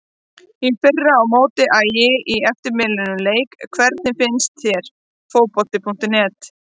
Í fyrra á móti Ægi í eftirminnilegum leik Hvernig finnst þér Fótbolti.net?